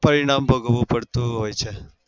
પરિણામ ભોગવું પડતું હોય છે.